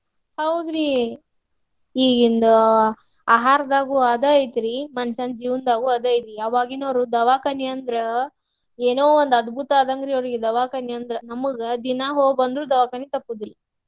ಹೌದ್ರಿ ಈಗಿಂದ ಆಹಾರದಾಗು ಅದ ಐತ್ರಿ ಮನಷ್ಯಾನ ಜೀವನ್ದಾಗು ಅದ ಐತ್ರಿ. ಅವಾಗಿನಾವ್ರು ದವಾಖಾನಿ ಅಂದ್ರ ಏನೊ ಒಂದ್ ಅದ್ಭುತ ಆದಂಗ್ರಿ ಅವ್ರಿಗ್ ದವಾಖನಿ ಅಂದ್ರ. ನಮಗ ದಿನಾ ಹೋಗಿ ಬಂದ್ರು ದವಾಖನಿ ತಪ್ಪುದಿಲ್ಲ.